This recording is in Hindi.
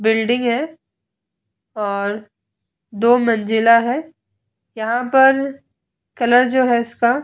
बिल्डिंग है और दो मंजिला है। यहाँ पर कलर जो है इसका --